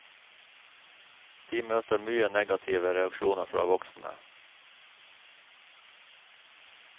De møter mye negative reaksjoner fra voksne.